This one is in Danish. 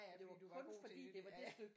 Ja ja fordi du var god til det ja